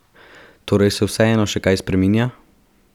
Torej se vseeno še kaj spreminja?